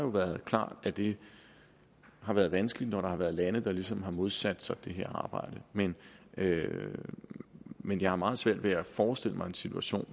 været klart at det har været vanskeligt når der har været lande der ligesom har modsat sig det her arbejde men men jeg har meget svært ved at forestille mig en situation